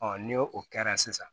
ni o kɛra sisan